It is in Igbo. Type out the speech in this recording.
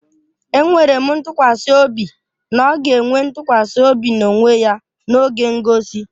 Enwere m ntụkwasị obi na ọ ga-enwe ntụkwasị obi na onwe ya n'oge ngosi